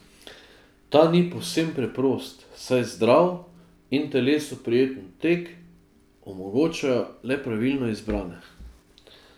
Ta ni povsem preprost, saj zdrav in telesu prijeten tek omogočajo le pravilno izbrane.